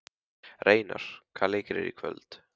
Reynar, hvaða leikir eru í kvöld?